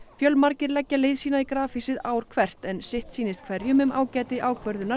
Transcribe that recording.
fjölmargir leggja leið sína í grafhýsið ár hvert en sitt sýnist hverjum um ágæti ákvörðunar